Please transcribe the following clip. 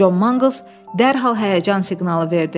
Con Mangls dərhal həyəcan siqnalı verdi.